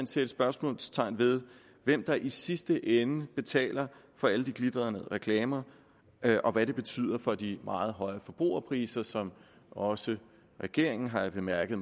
sætte spørgsmålstegn ved hvem der i sidste ende betaler for alle de glitrende reklamer og hvad det betyder for de meget høje forbrugerpriser som også regeringen har jeg bemærket